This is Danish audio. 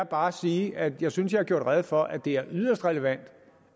bare sige at jeg synes jeg har gjort rede for at det er yderst relevant